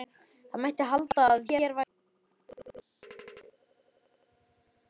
Það mætti halda að hér væri kominn